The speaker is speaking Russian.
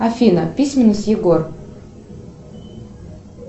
афина письменность егор